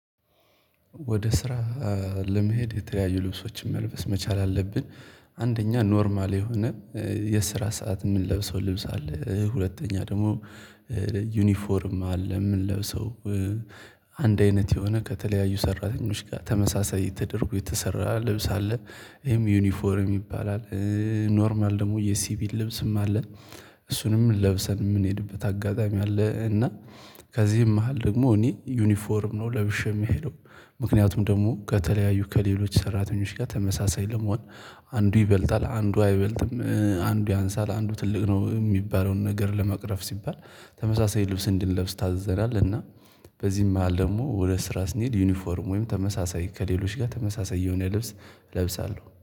ወደ ስራ ለመሄድ የተለያዩ ልብሶችን መልበስ መቻል አለብን። አንደኛ ኖርማል የሆነ የስራ ሰዓት የምንለብሰው ልብስ አለ። ሁለተኛ ደግሞ ዩኒፎርም አለ። የምንለብሰው አንድ አይነት የሆነ ከተለያዩ ሰራተኞች ጋር ተመሳሳይ ተደርጎ የተሰራ ልብስ አለ ይሄም ዩኒፎርም ይባላል። ኖርማል ደግሞ የሲቪል ልብስም አለ። እሱንም ለብሰን የምንሄድበት አጋጣሚ አለ። እና ከዚህም መሃል ደግሞ እኔ ዩኒፎርም ነው ለብሼ የምሄደው። ምክንያቱም ደግሞ ከተለያዩ ከሌሎች ሰራተኞች ጋር ተመሳሳይ ለመሆን አንዱ ይበልጣል አንዱ አይበልጥም አንዱ ያንሳል አንዱ ትልቅ ነው እሚባለውን ነገር ለመቅረፍ ሲባል ተመሳሳይ ልብስ እንድንለብስ ታዘላለህ። እና በዚህም መሃል ደግሞ ወደ ስራ ስንሄድ ዩኒፎርም ወይም ተመሳሳይ ከሌሎች ጋር ተመሳሳይ የሆነ ልብስ እለብሳለሁ